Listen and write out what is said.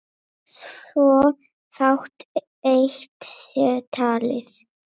svo fátt eitt sé talið.